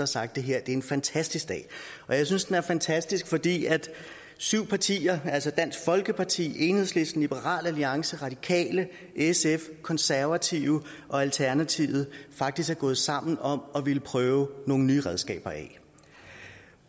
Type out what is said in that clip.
sagt det her er en fantastisk dag og jeg synes den er fantastisk fordi syv partier altså dansk folkeparti enhedslisten liberal alliance radikale sf konservative og alternativet faktisk er gået sammen om at ville prøve nogle nye redskaber af